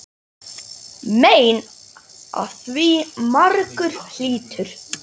Mein af því margur hlýtur.